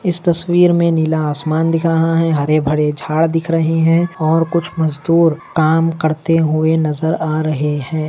इस तस्वीर मे नीला आसमान दिख रहा है हरे भरे झाड दिख रहे है और कुछ मजदूर काम करते हुए नजर आ रहे है।